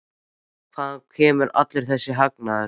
Hvaðan kemur allur þessi hagnaður?